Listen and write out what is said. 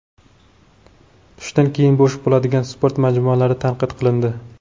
Tushdan keyin bo‘sh bo‘ladigan sport majmualari tanqid qilindi.